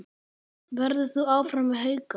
Verður þú áfram með Hauka?